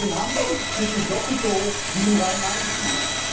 Und in Hamburg sind sie doppelt so hoch wie im Rhein Main Gebiet.